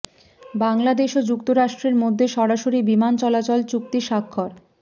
বাংলাদেশ ও যুক্তরাষ্ট্রের মধ্যে সরাসরি বিমান চলাচল চুক্তি স্বাক্ষর